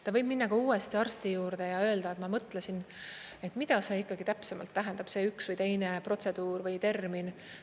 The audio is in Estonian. Ta võib minna ka uuesti arsti juurde ja öelda, et ma mõtlesin, et mida see ikkagi täpsemalt tähendab, see üks või teine protseduur või termin.